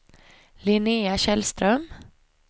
Linnéa Källström